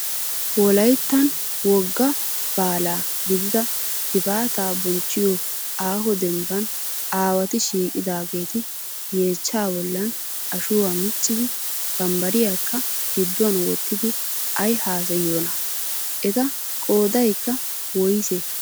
Wolayittan wogga baala gidida gifaata bonchchiyo aaho dembban awaati shiiqidaageeti yechchaa bollan ashuwaa miccidi bambbariyakka gidduwan wottidi ayi haasayiyoonaa? Eta qoodayikka woyisee?